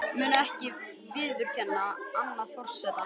Mun ekki viðurkenna annan forseta